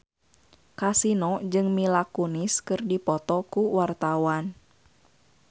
Kasino jeung Mila Kunis keur dipoto ku wartawan